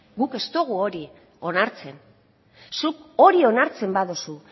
guk ez dugu hori onartzen zuk hori onartzen baduzu